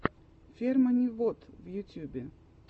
фермани вот в ютьюбе